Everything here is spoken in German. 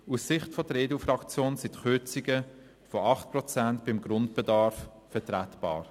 Aus Sicht der EDU-Fraktion sind die Kürzungen von 8 Prozent beim Grundbedarf vertretbar.